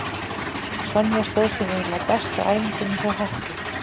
Sonja stóð sig eiginlega best á æfingunni hjá Hetti.